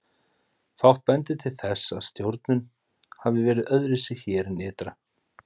Fátt bendir til þess að stjórnun hafi verið öðruvísi hér en ytra.